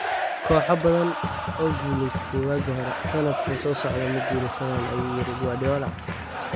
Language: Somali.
"Kooxo badan oo guulaystey waagii hore, sanadka soo socda ma guuleysan" ayuu yiri Guardiola.